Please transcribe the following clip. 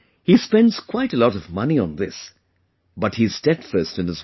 He spends quite a lot of money on this, but he is steadfast in his work